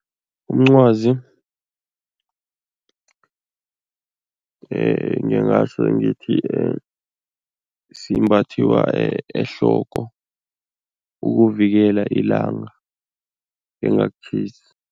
Umncwazi ngingatjho ngithi simbathiwa ehloko ukuvikela ilanga lingakutjhisi.